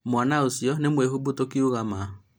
mwana ũcio nĩ mwĩhumbu tũkĩuga ma?